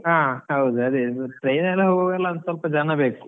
ಹಾ, ಹೌದ್ ಅದೇ train ಅಲ್ಲಿ ಹೋಗೂದಾದ್ರೆ ಸಲ್ಪ ಜನ ಬೇಕು.